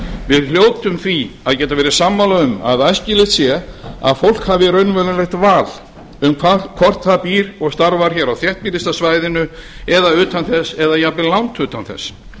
við hljótum því að geta verið sammála um að æskilegt sé að fólk hafi raunverulegt val um hvort það býr og starfar hér á þéttbýlasta svæðinu eða utan þess eða jafnvel langt utan þess